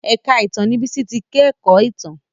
èka ìtàn ní Bisi tí ke kò ìtàn.